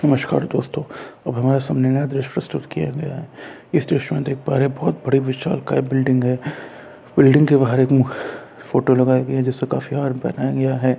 नमस्कार दोस्तों अब हमारे सामने नया दृश्य प्रस्तुत किया गया है इस दृश्य में देख पा रहे है बोहोत बड़ी विशाल काय बिल्डिंग हैं बिल्डिंग के बहार एक फोटो लगाये गये है जिस पे काफी हार पहनाया गया हैं।